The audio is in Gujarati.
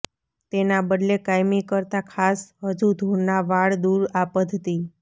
તેના બદલે કાયમી કરતાં ખાસ હજુ ધૂળ ના વાળ દૂર આ પદ્ધતિ